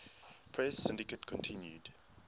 press syndicate continued